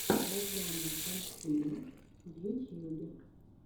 розанна пансино в ютьюбе